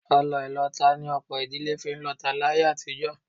Ọlọ ìlọta ni ọ̀pọ̀ ìdílé fi ń lọta láyé àtijọ́